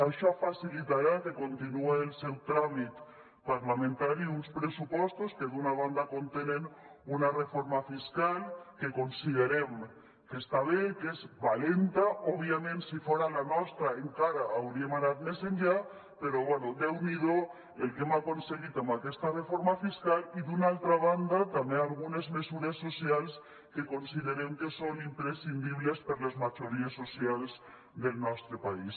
això facilitarà que continuï el seu tràmit parlamentari uns pressupostos que d’una banda contenen una reforma fiscal que considerem que està bé que és valenta òbviament si fora la nostra encara hauríem anat més enllà però bé déu n’hi do el que hem aconseguit amb aquesta reforma fiscal i d’una altra banda també algunes mesures socials que considerem que són imprescindibles per a les majories socials del nostre país